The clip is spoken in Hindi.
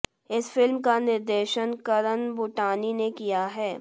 इस फिल्म का निर्देशन करण बूटानी ने किया है